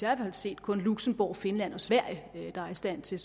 har set kun luxembourg finland og sverige der er i stand til